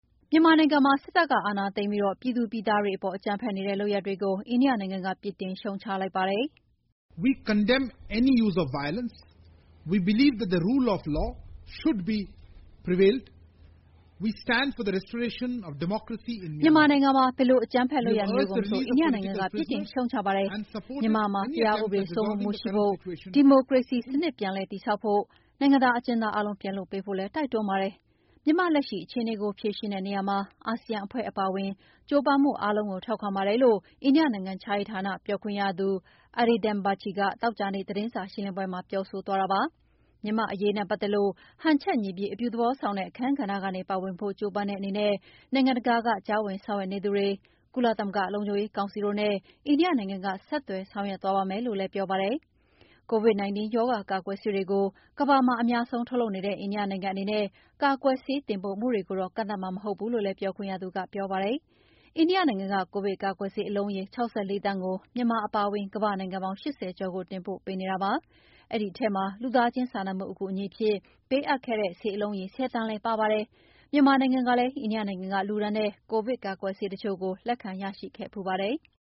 မြန်မာနိုင်ငံမှာ စစ်တပ်ကအာဏာသိမ်းပြီး ပြည်သူပြည်သားတွေအပေါ် အကြမ်းဖက်နေတဲ့လုပ်ရပ်တွေကို အိန္ဒိယနိုင်ငံက ပြစ်တင်ရှုတ်ချလိုက်ပါတယ်။ "မြန်မာနိုင်ငံမှာ ဘယ်လို အကြမ်းဖက်လုပ်ရပ်မျိုးကိုမဆို အိန္ဒိယနိုင်ငံက ပြစ်တင်ရှုတ်ချပါတယ်။ မြန်မာနိုင်ငံမှာ တရားဥပဒေစိုးမိုးမှုရှိဖို့ ၊ ဒီမိုကရေစီစနစ်ပြန်လည်တည်ဆောက်ဖို့ ၊ နိုင်ငံသားအကျဉ်းသားအားလုံးပြန်လွှတ်ပေးဖို့လည်း တိုက်တွန်းပါတယ်။ မြန်မာ့လက်ရှိအခြေအနေကို ဖြေရှင်းတဲ့နေရာမှာ အာဆီယံအဖွဲ့အပါအဝင် ကြိုးပမ်းမှု အားလုံးကို ထောက်ခံပါတယ်" လို့ အိန္ဒိယနိုင်ငံခြားရေးဌာန ပြောခွင့်ရ Arindam Bagchi သောကြာနေ့သတင်းစာရှင်းလင်းပွဲမှာ ပြောဆိုသွားတာပါ။ မြန်မာ့အရေးနဲ့ပတ်သက်လို့ ဟန်ချက်ညီပြီး အပြုသဘောဆောင်တဲ့ အခန်းကဏ္ဍကနေ ပါဝင်ဖို့ ကြိုးပမ်းတဲ့အနေနဲ့ နိုင်ငံတကာက ကြားဝင်ဆောင်ရွက်နေသူတွေ၊ ကုလသမဂ္ဂလုံခြုံရေးကောင်စီတို့နဲ့ အိန္ဒိယနိုင်ငံက ဆက်သွယ်ဆောင်ွရွက် သွားပါမယ်လို့လည်း ပြောပါတယ်။ COVID-19 ရောဂါကာကွယ်ဆေးတွေကို ကမ္ဘာမှ ာအများဆုံးထုတ်လုပ်နေတဲ့ အိန္ဒိယနိုင်ငံအနေနဲ့ ကာကွယ်ဆေးတင်ပို့မှုတွေကိုတော့ ကန့်သတ်မှာ မဟုတ်ဘူးလို့လည်း ပြောခွင့်ရသူက ပြောဆိုသွားတာပါ။ အိန္ဒိယနိုင်ငံက ကိုဗစ်ကာကွယ်ဆေးအလုံးရေ ၆၄ သန်းကို မြန်မာအပါအဝင် ကမ္ဘာ့နိုင်ငံပေါင်း ၈၀ ကျော်ကိုတင်ပို့ပေးနေတာလည်းဖြစ်ပါတယ်။ အဲဒီထဲမှာ လူသားချင်းစာနာမှုအကူအညီအဖြစ်ပေးအပ်ခဲ့တဲ့ ဆေးအလုံးရေ ၁၀ သန်းလည်းပါဝင်ပါတယ်။ မြန်မာနိုင်ငံကလည်း အိန္ဒိယနိုင်ငံက လှူဒါန်းတဲ့ ကိုဗစ်ကာကွယ်ဆေးတချို့ကိုလက်ခံရရှိခဲ့ဖူးပါတယ်။